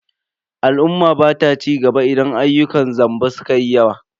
Al'umma bata cigaba idan ayyukan zamba sukayi yawa.